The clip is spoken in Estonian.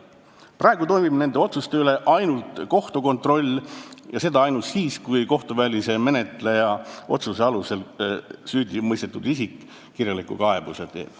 Praegu toimub nende otsuste üle ainult kohtu kontroll ja seda vaid siis, kui kohtuvälise menetleja otsuse alusel süüdimõistetud isik kirjaliku kaebuse teeb.